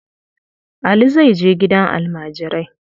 Ali zai je gidan almajirai.